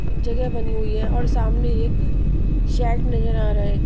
जगह बनी हुई है और सामने एक शर्ट नजर आ रहा है.